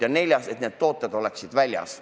Ja neljas ettepanek oli, et need tooted oleksid väljas.